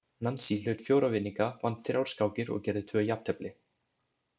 Nansý hlaut fjóra vinninga, vann þrjár skákir og gerði tvö jafntefli.